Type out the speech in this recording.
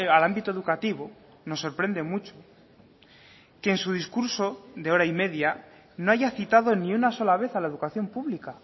al ámbito educativo nos sorprende mucho que en su discurso de hora y media no haya citado ni una sola vez a la educación pública